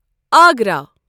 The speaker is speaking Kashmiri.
آگرا